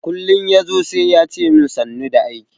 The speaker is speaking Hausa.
Kullin yazo sai yace min sannu da aiki.